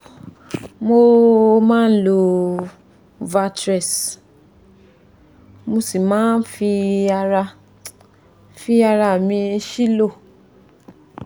mo máa ń lo valtrex mo sì máa ń fi ara fi ara mi sílò